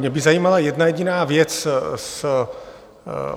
Mě by zajímala jedna jediná věc.